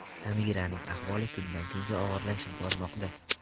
Samiraning ahvoli kundan-kunga og‘irlashib bormoqda.